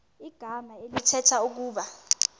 igama elithetha ukuba